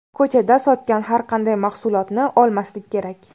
Ko‘chada sotgan har qanday mahsulotni olmaslik kerak.